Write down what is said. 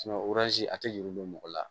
a tɛ yurugu don mɔgɔ la